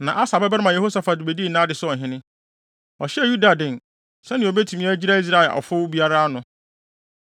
Na Asa babarima Yehosafat bedii nʼade sɛ ɔhene. Ɔhyɛɛ Yuda den, sɛnea obetumi agyina Israel ɔfow biara ano.